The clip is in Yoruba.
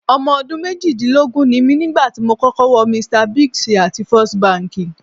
Ọmọ ọdún méjìdínlógún ni mí nígbà tí mo kọ́kọ́ wọ Mr Biggs àti First Bank.